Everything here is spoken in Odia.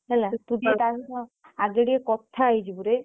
ହେଲା ତୁ ଟିକେ ତା ସହ ଆଗେ ଟିକେ କଥା ହେଇଯିବୁ ରେ।